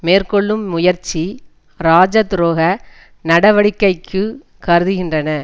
மேற்கொள்ளும் முயற்சி ராஜ துரோக நடவடிக்கைக்கு கருதுகின்றன